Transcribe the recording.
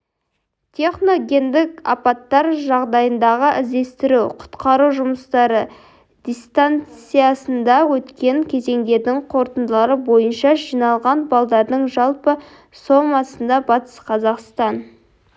техногендік апаттар жағдайындағы іздестіру-құтқару жұмыстары дистанциясында өткен кезеңдердің қорытындылары бойынша жиналған балдардың жалпы сомасында батыс қазақстан